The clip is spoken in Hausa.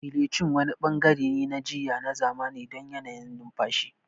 Gelocin wani bangare ne na jiyya na zamani don yanayin numfashi.